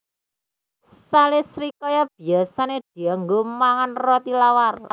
Sele srikaya biyasané dianggo mangan roti tawar